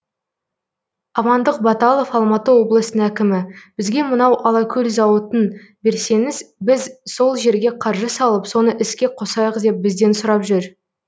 амандық баталов алматы облысының әкімі бізге мынау алакөл зауытын берсеңіз біз сол жерге қаржы салып соны іске қосайық деп бізден сұрап жүр